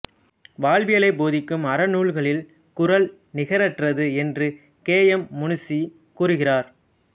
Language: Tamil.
வாழ்வியலை போதிக்கும் அறநூல்களில் குறள் நிகறற்றது என்று கே எம் முன்ஷி கூறுகிறார்